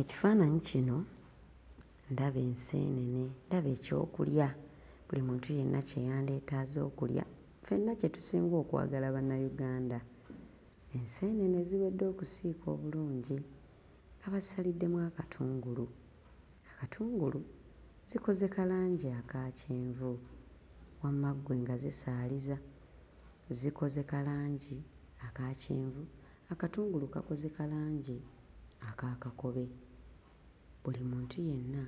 Ekifaananyi kino ndaba enseenene, ndaba ekyokulya buli muntu yenna kye yandyetaaze okulya, ffenna kye tusinga okwagala Bannayuganda. Enseenene eziwedde okusiika obulungi nga basaliddemu akatungulu, akatungulu zikoze ka langi aka kyenvu wamma ggwe nga zisaaliza, zikoze ka langi aka kyenvu, akatungulu kakoze ka langi aka kakobe. Buli muntu yenna